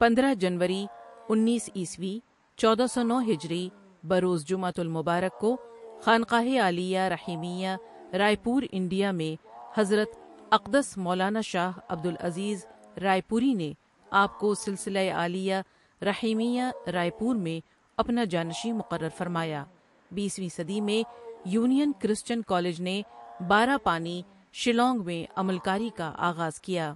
پندرہ؍ جنوری اُنیس عیسوی چودہ سونو ہجری بروز جمعۃ المبارک کو خانقاہِ عالیہ رحیمیہ رائے پور انڈیا میں حضرت اقدس مولانا شاہ عبدالعزیز رائے پوریؒ نے آپؒ کو سلسلۂ عالیہ رحیمیہ رائے پور میں اپنا جانشین مقرر فرمایا بیسویں صدی میں یونین کرسچن کالج نے بارہ پانی، شیلانگ میں عمل کاری کا آغاز کیا۔